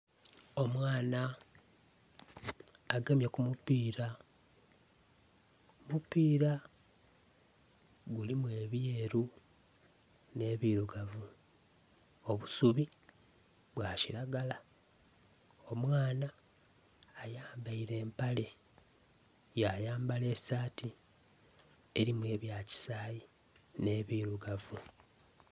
Omwana agemye ku mupiira, omupiira gulimu ebyeru, n'ebirugavu, obusubi bwakiragala. Omwana ayambaire empale, yayambala esaati, erimu ebya kisaayi n'ebirugavu.